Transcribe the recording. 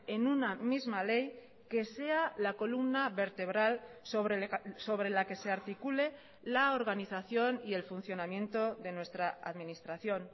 en una misma ley que sea la columna vertebral sobre la que se articule la organización y el funcionamiento de nuestra administración